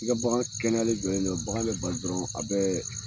I bagan kɛnɛyalen jɔlen do bagan be bali dɔrɔn a bɛ